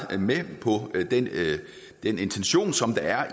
med på den intention som der er